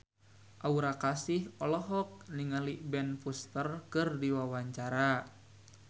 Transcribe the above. Aura Kasih olohok ningali Ben Foster keur diwawancara